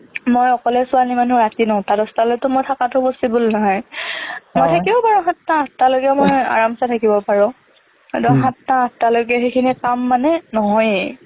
মই অকলে ছোৱালী মানুহ ৰাতি নটা দহটালৈকে মই থকাটো possible নহয় তথাপিও বাৰু মই সাতটা আঠটালৈকে মই aramse থাকিব পাৰোঁ হ'লেও সাতটা আঠটালৈকে সেইখিনি কাম মানে নহয়েই